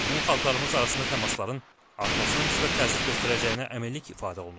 Bunun xalqlarımız arasında təmasların artmasına müsbət təsir göstərəcəyinə əminlik ifadə olunub.